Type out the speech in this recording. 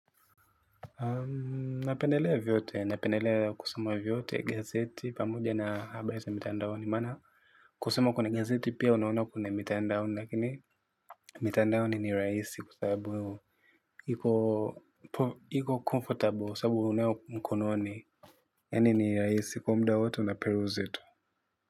Napendelea vyote napendelea kusoma vyote gazeti pamoja na habariza mitandaoni mana kusoma kuna gazeti pia unaona kune mitandaoni lakini mitandaoni ni raisi kua sabubu iko comfortable kwa sababu ukonayo mkononi, yani ni rahisi kwa hivyo muda wowote unperuzi.